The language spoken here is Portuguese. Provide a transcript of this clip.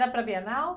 Era para a Bienal?